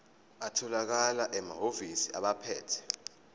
atholakala emahhovisi abaphethe